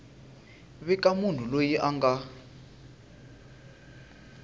vika munhu loyi a nga